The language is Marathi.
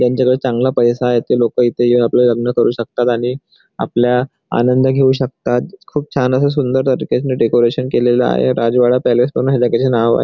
ज्यांच्याकडे चांगला पैसा आहे ते लोक इथे येऊन आपले लग्न करू शकतात आणि आपल्या आनंद घेऊ शकतात खूप छान सुंदर असं त्या ठिकाणी डेकोरेशन केलेल आहे राजवाडा पॅलेस त्याचे नाव आहे.